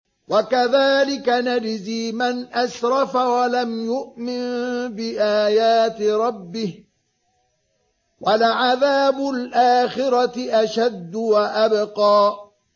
وَكَذَٰلِكَ نَجْزِي مَنْ أَسْرَفَ وَلَمْ يُؤْمِن بِآيَاتِ رَبِّهِ ۚ وَلَعَذَابُ الْآخِرَةِ أَشَدُّ وَأَبْقَىٰ